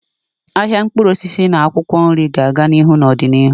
Ahịa mkpụrụ osisi na akwụkwọ nri ga-aga n'ihu n'ọdịnihu.